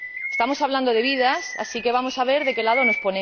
Estamos hablando de vidas, así que vamos a ver de qué lado nos